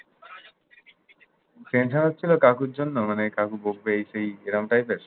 tension হচ্ছিল, কাকুর জন্য? মানে, কাকু বকবে, এই সেই এরম type এর।